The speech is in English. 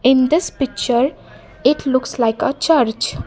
in this picture it looks like a church.